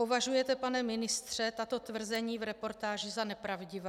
Považujete, pane ministře, tato tvrzení v reportáži za nepravdivá?